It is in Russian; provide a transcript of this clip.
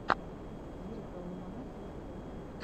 лирикал лимонад в ютьюбе